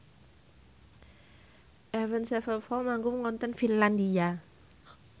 Avenged Sevenfold manggung wonten Finlandia